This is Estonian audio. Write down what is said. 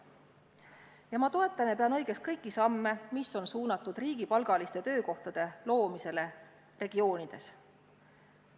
Ja ma toetan ja pean õigeks kõiki samme, mis on suunatud riigipalgaliste töökohtade loomisele eri regioonides.